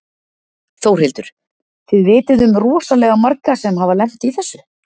Þórhildur: Þið vitið um rosalega marga sem hafa lent í þessu?